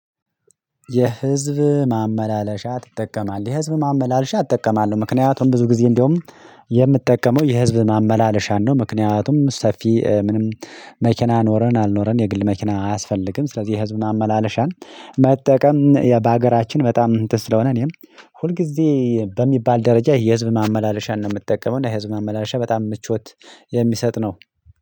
የህዝብ ማመላለሻ ትጠቀማለህ? የህዝብ ማመላለሻ እጠቀማለሁ ምክንያቱም ብዙ ጊዜ እንደውም የምትጠቀመው የህዝብ ማመላለሻን ነው ምክንያቱም ሰፊ ምንም መኪና ኖረን አልኖረን የግል መኪና አያስፈልግም ስለዚህ የህዝብ ማመላለሻን መጠቀም በሀገራችን በጣም እንትን ስለሆነ እኔም ሁልጊዜ በሚባል ደረጃ የህዝብ ማመላለሻን ነው የምትጠቀመው እና የህዝብ ማመላለሻ በጣም ምቾት የሚሰጥ ነው